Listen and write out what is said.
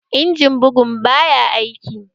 Injimin bugun baya aiki